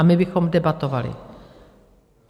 A my bychom debatovali.